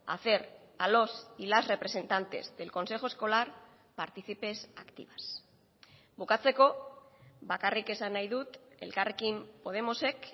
hacer a los y las representantes del consejo escolar partícipes activas bukatzeko bakarrik esan nahi dut elkarrekin podemosek